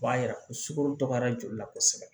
O b'a yira ko sukoro dɔgɔyara joli la kosɛbɛ